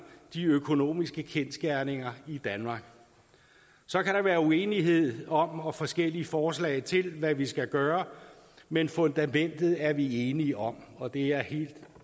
de økonomiske kendsgerninger i danmark så kan der være uenighed om og forskellige forslag til hvad vi skal gøre men fundamentet er vi enige om og det er helt